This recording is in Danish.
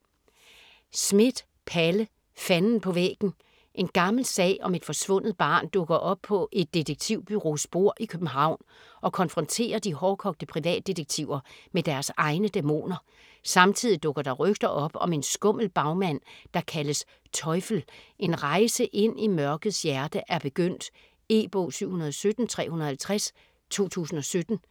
Schmidt, Palle: Fanden på væggen En gammel sag om et forsvundet barn dukker op på et detektivbureaus bord i København, og konfronterer de hårdkogte privatdetektiver med deres egne dæmoner. Samtidig dukker der rygter op om en skummel bagmand der kaldes "Teufel". En rejse ind i mørkets hjerte er begyndt. E-bog 717350 2017.